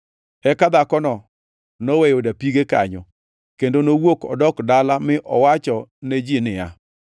Eka dhakono noweyo dapige kanyo, kendo nowuok odok dala mi owachone ji niya,